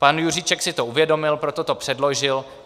Pan Juříček si to uvědomil, proto to předložil.